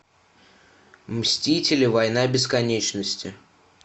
мстители война бесконечности